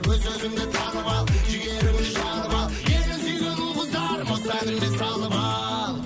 өз өзіңді танып ал жігеріңді шығарып ал елін сүйген ұл қыздар осы әніме салып ал